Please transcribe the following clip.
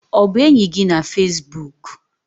Ọ bụ enyi gị na Fesbuk?